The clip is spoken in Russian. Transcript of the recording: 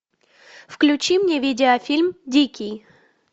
включи мне видеофильм дикий